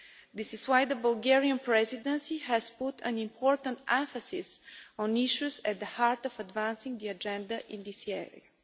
This is why the Bulgarian Presidency has put an important emphasis on issues at the heart of advancing the agenda in this area.